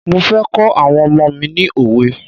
Mo fẹ́ kọ́ àwọn ọmọ mi ni òwe.